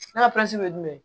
Ne ka pilasi ye jumɛn ye